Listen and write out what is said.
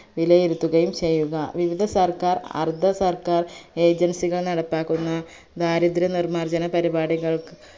വിലയിരുത്തുകയും ചെയ്യുക വിവിധ സർക്കാർ അർധ സർക്കാർ agency കൾ നടപ്പാക്കുന്ന ദാരിദ്ര നിർമാർജന പരിപാടികൾക്